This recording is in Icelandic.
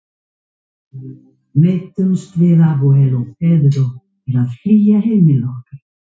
Neytendur í Evrópu hafa þannig val um það hvort þeir kaupa erfðabreytt matvæli eða ekki.